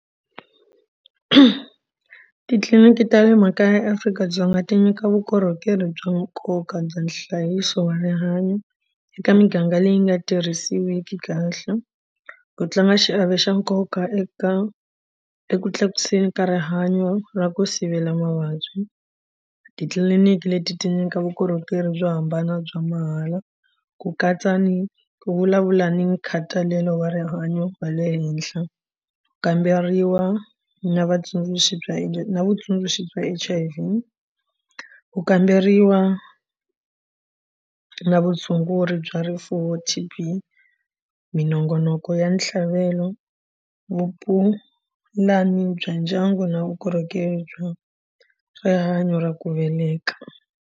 Titliliniki ta le makaya eAfrika-Dzonga ti nyika vukorhokeri bya nkoka bya nhlayiso wa rihanyo eka miganga leyi nga tirhisiwiki kahle ku tlanga xiave xa nkoka eka eku tlakuseni ka rihanyo ra ku sivela mavabyi. Titliliniki leti ti nyika vukorhokeri byo hambana bya mahala ku katsa ni vulavula ni nkhatalelo wa rihanyo wa le henhla kamberiwa na vatsundzuxi bya na vutsundzuxi bya H_I_V ku kamberiwa na vutshunguri bya rifuwo T_B minongonoko ya ntlhavelo vupulani bya ndyangu na vukorhokeri bya rihanyo ra ku veleka.